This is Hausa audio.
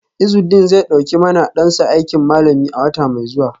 Izudeen zai dauki ma dansa aikin malami a wata mai zuwa.